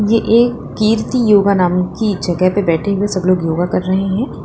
ये एक कीर्ति योगा नाम की जगह पे बैठे हुए सब लोग योगा कर रहे हैं।